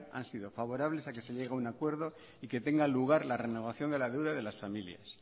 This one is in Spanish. han sido favorables a que se llegue a un acuerdo y que tenga el lugar la renovación de la deuda de las familias